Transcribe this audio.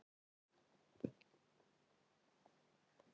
Ekkjan sló kólfi í bjöllu.